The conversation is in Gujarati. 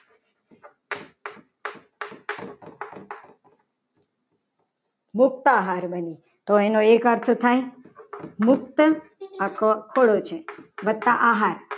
તો એનો એક અર્થ થાય મુક્ત અથવા પરિચય plus આહાર